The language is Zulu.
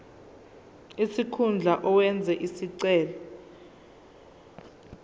sikhundla owenze isicelo